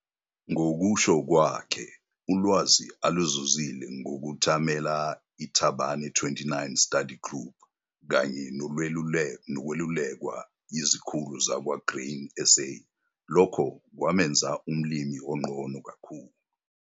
Ngokusho kwakhe ulwazi aluzuzile ngokuthamela iThabane 29 Study Group kanye nokwelulekwa yizikhulu zakwa-Grain SA lokho kwamenza umlimi ongcono kakhulu.